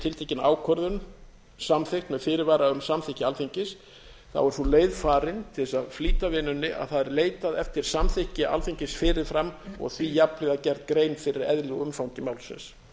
tiltekin ákvörðun samþykkt með fyrirvara um samþykki alþingis er sú leið farin til þess að flýta vinnunni að það er leitað eftir samþykki alþingis fyrir fram og því jafnhliða gerð grein fyrir eðli og umfangi málsins